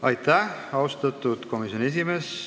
Aitäh, austatud komisjoni esimees!